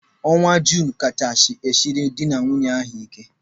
Ọnwa Junu kachasị siere dị na nwunye ahụ ike.